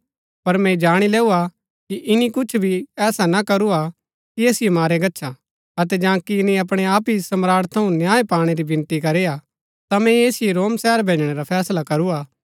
पर मैंई जाणी लैऊआ कि ईनी कुछ भी ऐसा ना करू हा कि ऐसिओ मारया गच्छा अतै जांकि ईनी अपणै आप ही सम्राट थऊँ न्याय पाणै री विनती करी हा ता मैंई ऐसिओ रोम शहर भैजणै रा फैसला करूआ